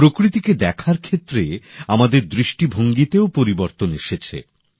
প্রকৃতিকে দেখার ক্ষেত্রে আমাদের দৃষ্টিভঙ্গীতেও পরিবর্তন এসেছে